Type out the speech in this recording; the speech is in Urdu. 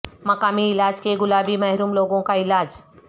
مقامی علاج کے گلابی محروم لوگوں کا علاج